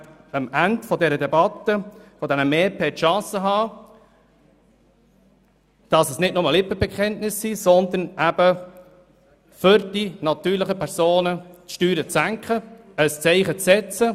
Sie werden am Ende dieser Debatte die Chance haben, nicht nur Lippenbekenntnisse abzugeben, sondern die Steuern für die natürlichen Personen tatsächlich zu senken und ein Zeichen zu setzen.